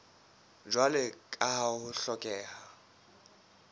jwalo ka ha ho hlokeha